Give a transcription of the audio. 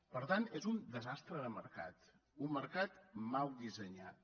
per tant és un desastre de mercat un mercat mal dissenyat